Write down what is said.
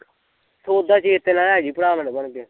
ਸੌਦਾ ਚੇਤੇ ਨਾਲ਼ ਲੇਜੀ ਭਰ ਮੇਰਾ ਬਣ ਕੇ